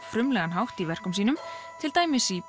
hátt í verkum sínum til dæmis í